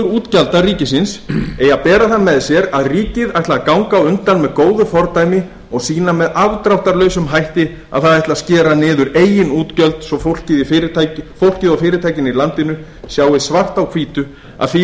útgjalda ríkisins eigi að bera það með sér að ríkið ætli að ganga á undan með góðu fordæmi og sýna með afdráttarlausum hætti að það ætli að skera niður eigin útgjöld svo fólkið og fyrirtækin í landinu sjái svart á hvítu að því